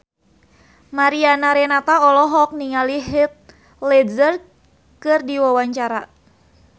Mariana Renata olohok ningali Heath Ledger keur diwawancara